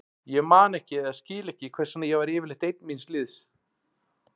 Ég man ekki eða skil ekki hvers vegna ég var yfirleitt ein míns liðs.